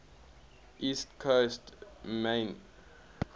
east coast maine